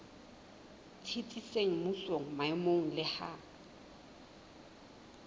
tsitsitseng mmusong maemong le ha